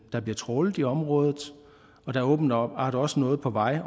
der bliver trawlet i området og der er åbenbart også noget på vej